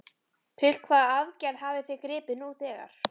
Til hvaða aðgerða hafið þið gripið nú þegar?